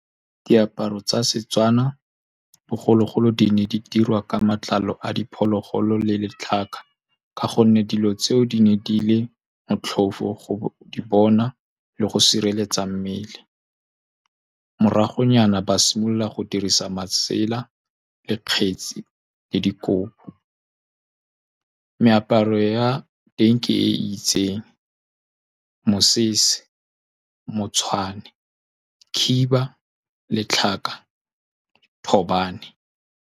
Diaparo tsa SeTswana bogologolo di ne di dirwa ka matlalo a diphologolo le letlhaka, ka gonne dilo tseo di ne di le motlhofo go di bona le go sireletsa mmele. Moragonyana ba simolola go dirisa masela, le kgetsi le dikobo. Meaparo ya teng ke e itseng, mosese, motshwane, khiba, letlhaka, thobane.